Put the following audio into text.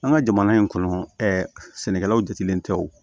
An ka jamana in kɔnɔ ɛɛ sɛnɛkɛlaw jatigɛlen tɛ o